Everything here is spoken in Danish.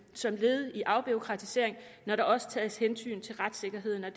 som led i afbureaukratisering når der også tages hensyn til retssikkerheden og